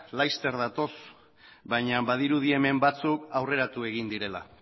laster datoz baina badirudi hemen batzuk aurreratu egin direla